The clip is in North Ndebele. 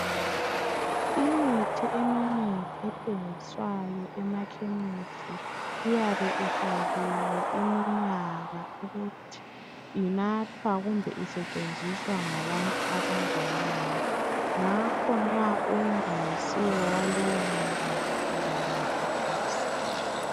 Imithi eminengi ethengiswayo emakhemisi iyabe ifakiwe iminyaka ukuthi inathwa kumbe isetshenziswa ngabantu abaleminyaka enganani. Ngakho nxa ungayisiwo waleyominyaka ungawunatha awusebenzi.